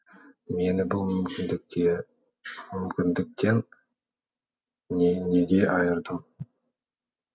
мені бұл мүмкіндіктен неге айырдың